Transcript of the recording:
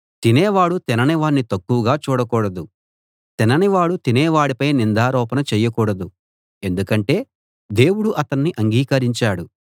తినేవాడు తినని వాణ్ణి తక్కువగా చూడకూడదు తినని వాడు తినేవాడిపై నిందారోపణ చేయకూడదు ఎందుకంటే దేవుడు అతణ్ణి అంగీకరించాడు